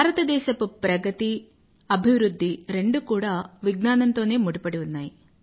భారతదేశపు ప్రగతి అభివృధ్ధి రెండూ కూడా విజ్ఞానం తోనే ముడిపడి ఉన్నాయి